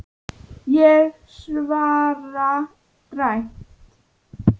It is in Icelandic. Ég svara dræmt.